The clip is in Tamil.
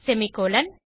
செமிகோலன்